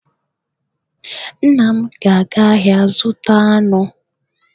Nna m ga-aga ahịa ịzụta anụ.